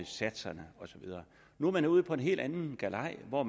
satserne og så videre nu er man ude på en helt anden galej og